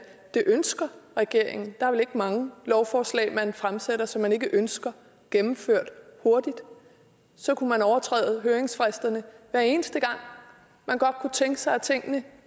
det ønsker regeringen der er vel ikke mange lovforslag man fremsætter som man ikke ønsker gennemført hurtigt så kunne man overtræde høringsfristerne hver eneste gang man godt kunne tænke sig at tingene